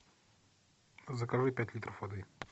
закажи пять литров воды